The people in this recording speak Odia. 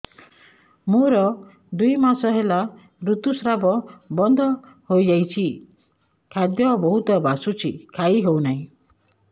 ମୋର ଦୁଇ ମାସ ହେଲା ଋତୁ ସ୍ରାବ ବନ୍ଦ ହେଇଯାଇଛି ଖାଦ୍ୟ ବହୁତ ବାସୁଛି ଖାଇ ହଉ ନାହିଁ